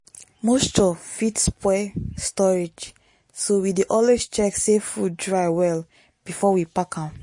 moisture fit spoil storage so we dey always check say food dry well before we pack am.